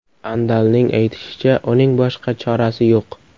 Andalning aytishicha, uning boshqa chorasi yo‘q.